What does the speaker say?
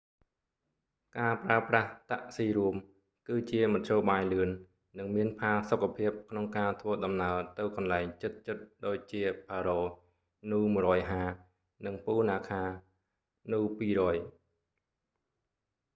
ការប្រើប្រាស់តាក់ស៊ីរួម គឺជាមធ្យោបាយលឿន និងមានផាសុកភាព ក្នុងការធ្វើដំណើរទៅកន្លែងជិតៗដូចជាផារ៉ូ paro nu 150 និង ពូណាខា punakha nu 200